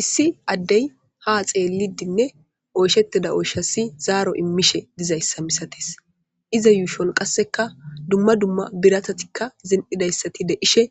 Issi addey ha xeelidinne oysheteda oyshassi zaaro immishe dizayssa misates iza yuushon qasseka dumma dumma biratatikka zen7idayssati deishe